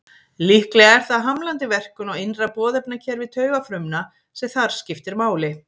Líklega er það hamlandi verkun á innra boðefnakerfi taugafrumna sem þar skiptir máli.